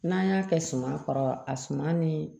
N'an y'a kɛ suma kɔrɔ a suma ni